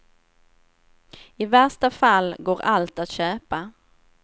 I värsta fall går allt att köpa.